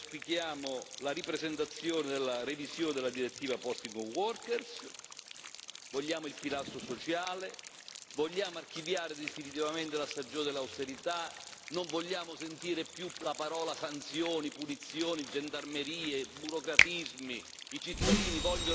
Sul sociale auspichiamo la ripresentazione della revisione della direttiva sul distacco dei lavoratori, vogliamo il pilastro sociale, vogliamo archiviare definitivamente la stagione dell'austerità non vogliamo sentire più la parola sanzioni, punizioni, gendarmerie, burocratismi.